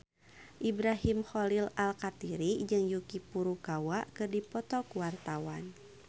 Ibrahim Khalil Alkatiri jeung Yuki Furukawa keur dipoto ku wartawan